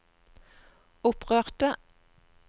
opprørte